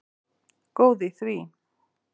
Góð í því!